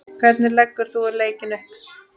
Hvernig leggur þú leikinn upp?